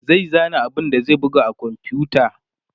zai zana abun da zai buga a komfuta